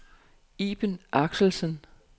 Iben Axelsen